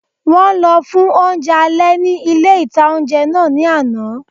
Wọ́n lọ fún oúnjẹ alẹ́ ní ilé-ìtánjẹ náà ní àná